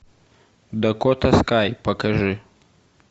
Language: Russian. дакота скай покажи